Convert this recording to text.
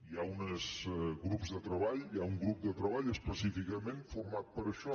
hi ha uns grups de treball hi ha un grup de treball específicament format per a això